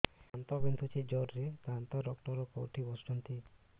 ଦାନ୍ତ ବିନ୍ଧୁଛି ଜୋରରେ ଦାନ୍ତ ଡକ୍ଟର କୋଉଠି ବସୁଛନ୍ତି